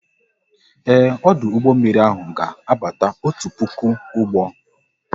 Ee, ọdụ ụgbọ mmiri ahụ ga abata otu puku ụgbọ